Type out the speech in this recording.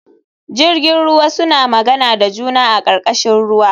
Jirjin ruwa suna magana da juna a karkashin ruwa